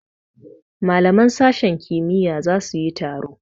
Malaman sashen kimiyya za su yi taro.